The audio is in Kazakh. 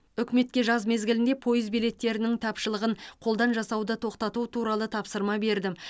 үкіметке жаз мезгілінде пойыз билеттерінің тапшылығын қолдан жасауды тоқтату туралы тапсырма бердім